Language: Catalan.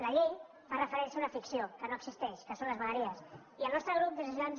la llei fa referència a una ficció que no existeix que són les vegueries i el nostre grup des de ciutadans